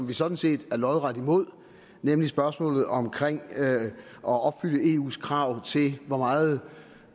vi sådan set lodret imod nemlig spørgsmålet om at opfylde eus krav til hvor meget